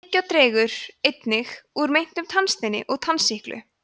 tyggjó dregur einnig úr myndun tannsteins og tannsýklu